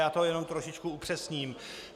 Já to jenom trošičku upřesním.